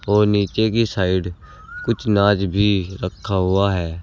और नीचे की साइड कुछ अनाज भी रखा हुआ है।